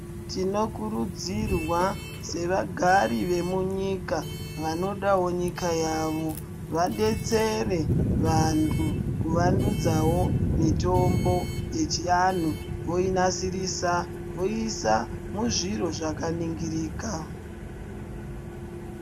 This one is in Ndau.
Tinokurudzirwa sevagari vemunyika vanodawo nyika yavo vadetsere vantu kuvandudzawo mitombo yechianhu voinasirisa voiisa muzviro zvakaningirika.